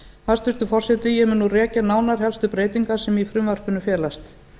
hæstvirtur forseti ég mun nú rekja nánar helstu breytingar sem í frumvarpinu felast